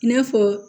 I n'a fɔ